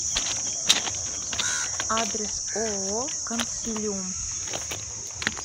адрес ооо консилиум